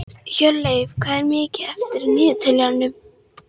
Hjörleif, hvað er mikið eftir af niðurteljaranum?